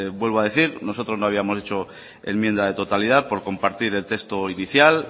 vuelvo a decir nosotros no habíamos hecho enmienda de totalidad por compartir el texto inicial